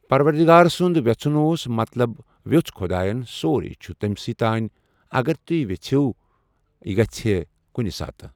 پَروَردِگار سُنٛد وٮ۪ژھُن اوس مطلب ویوٚژھ خۄدایَن سورُے چھِ تٔمۍ سٕے تانۍ اگر تٔمۍ ویوٚژِھو یہِ گژھِ کُنہِ ساتہٕ۔